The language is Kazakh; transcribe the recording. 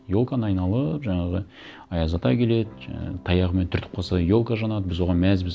елканы айналып жаңағы аяз ата келеді жаңа таяғымен түртіп қалса елка жанады біз оған мәзбіз